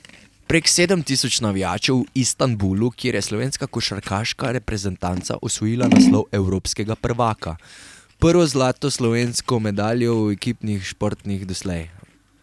Prek sedem tisoč navijačev v Istanbulu, kjer je slovenska košarkarska reprezentanca osvojila naslov evropskega prvaka, prvo zlato slovensko medaljo v ekipnih športnih doslej.